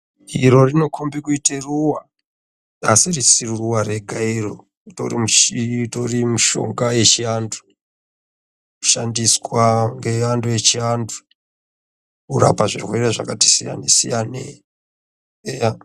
Iro rinokombe kuite ruwa ,asi risiri ruwa rega iro utori mushonga wechiantu unoshandiswa ngeantu echiantu kurape zvirwere zvakati siyanesiyane eya.....